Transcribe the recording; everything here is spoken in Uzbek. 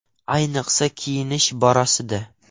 Ayniqsa, kiyinish borasida!